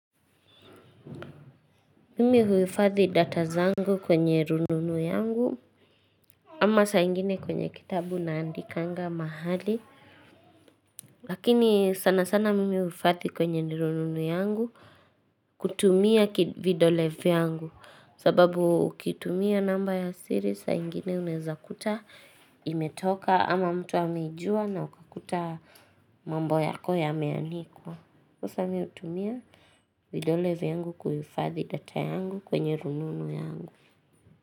Mimi huifadhi data zangu kwenye rununu yangu, ama saa ingine kwenye kitabu naandikanga mahali. Lakini sana sana mimi huifathi kwenye rununu yangu kutumia vidole yangu, sababu ukitumia namba ya siri saa ingine uneza kuta imetoka ama mtu ameijua na ukakuta mambo yako yameanikwa. Sasa mi hutumia vidole vyangu huifadhi data yangu kwenye rununu yangu.